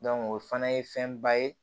o fana ye fɛnba ye